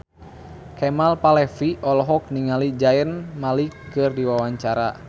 Kemal Palevi olohok ningali Zayn Malik keur diwawancara